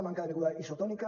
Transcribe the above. manca de beguda isotònica